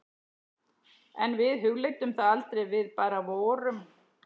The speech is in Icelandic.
En við hugleiddum það aldrei, við bara vorum.